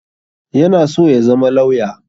Yana so ya zama lauya